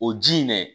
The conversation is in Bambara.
O ji in dɛ